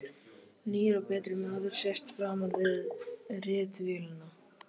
Nýr og betri maður sest framan við ritvélina.